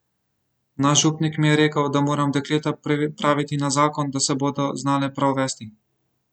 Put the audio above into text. Naš župnik mi je rekel, da moram dekleta pripraviti za zakon, da se bodo znale prav vesti.